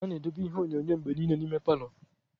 A na-edobe ihe onyonyo mgbe niile n'ime palọ.